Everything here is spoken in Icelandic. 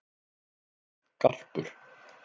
Garpur